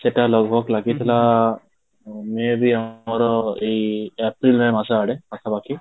ସେଟା ଲାଗିଥିଲା may be ଆମର ଏଇ ଏପ୍ରିଲ ମେ ମାସ ଆଡେ ପାଖ ପାଖି